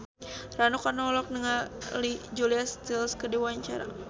Rano Karno olohok ningali Julia Stiles keur diwawancara